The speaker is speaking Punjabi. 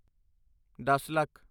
ਦੱਸ ਲੱਖ